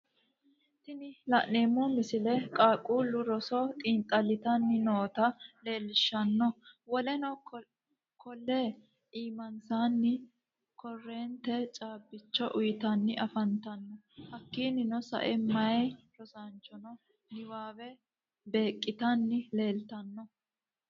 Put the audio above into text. tinni lanemmo missile qaaqullu roso xinxallitanni nootta leelishanno. Woleno kolle imaansanni koorentte cabbicho uyitanni afantanno hakkininno sa'e meya rosanchonno niwawwe beqqitanni leellitanno.